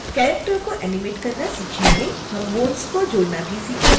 हम bones जोड़ना भी सीखेंगे